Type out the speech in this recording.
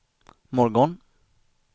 morgon